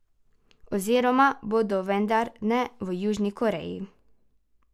Oziroma bodo, vendar ne v Južni Koreji.